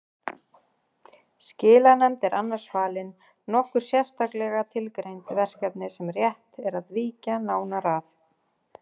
Skilanefnd er annars falin nokkur sérstaklega tilgreind verkefni sem rétt er að víkja nánar að